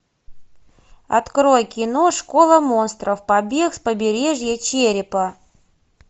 открой кино школа монстров побег с побережья черепа